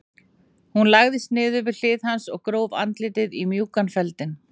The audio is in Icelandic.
Hún lagðist niður við hlið hans og gróf andlitið í mjúkan feldinn.